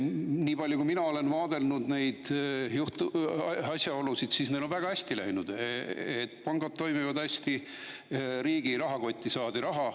Niipalju kui mina olen neid asjaolusid vaadelnud, tundub, et neil on väga hästi läinud, pangad toimivad hästi, riigi rahakotti saadi raha.